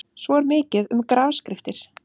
Svo er mikið um grafskriftir.